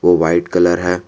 वो white colour है।